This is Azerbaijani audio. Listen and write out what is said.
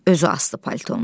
Özü asdı paltunu.